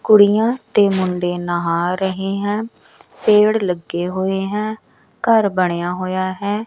ਕੁੜੀਆਂ ਤੇ ਮੁੰਡੇ ਨਹਾ ਰਹੇ ਹੈ ਪੇੜ ਲੱਗੇ ਹੋਏ ਹੈ ਘਰ ਬਣਿਆ ਹੋਇਆ ਹੈ।